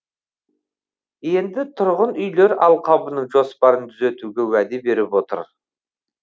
енді тұрғын үйлер алқабының жоспарын түзетуге уәде беріп отыр